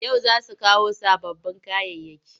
Yau za su kawo sababbin kayayyaki.